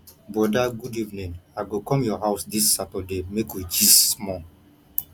broda good evening i go come your house dis saturday make we gist small